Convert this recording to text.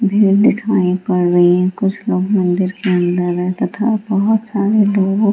भीड़ दिखाई पड़ रही है कुछ लोग मंदिर के अंदर हैं तथा बहुत सारे लोग --